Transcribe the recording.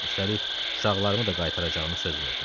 Üstəlik, uşaqlarımı da qaytaracağını söz verdi.